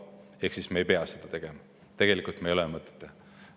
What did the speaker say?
Me ei pea tegelikult seda tegema, meil ei ole mõtet teha.